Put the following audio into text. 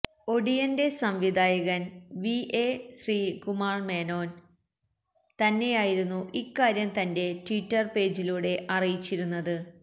ഒടിയന്റെ സംവിധായകന് V A Sreekumar Menon തന്നെയായിരുന്നു ഇക്കാര്യം തന്റെ ട്വിറ്റര് പേജിലൂടെ അറിയിച്ചിരുന്നത്